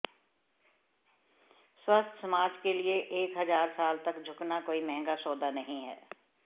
स्वस्थ समाज के लिए एक हजार साल तक झुकना कोई महंगा सौदा नहीं है